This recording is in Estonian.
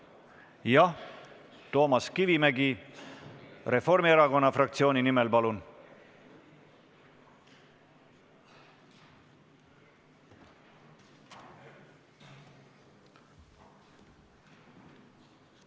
Jah, Toomas Kivimägi Reformierakonna fraktsiooni nimel, palun!